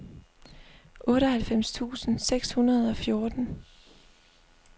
otteoghalvfems tusind seks hundrede og fjorten